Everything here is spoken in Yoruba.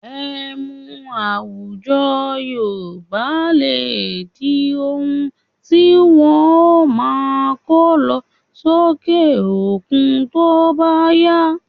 Emu àwùjọ Yorùbá lè di oun tí wọn ó máa kọ́ lọ sókè òkun tó bá yá